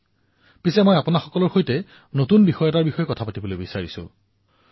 কিন্তু আজি মই এক নতুন বিষয়ৰ ওপৰত কবলৈ ওলাইছো